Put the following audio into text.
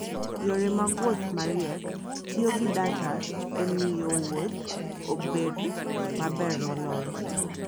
Yore mag wuoth mariek tiyo gi data e miyo wuoth obed maber moloyo.